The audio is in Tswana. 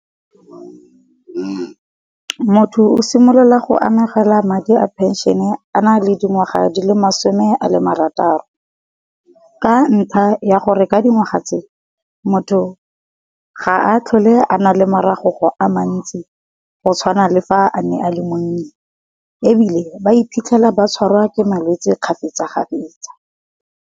Motho o simolola go amogela madi a penšhene a na le dingwaga di le masome a le marataro. Ka ntlha ya gore ka dingwaga tse motho ga a tlhole a nale moragogo a mantsi, go tshwana le fa a ne a le monnye, ebile ba iphitlhela ba tshwarwa ke malwetse kgafetsa-kgafetsa.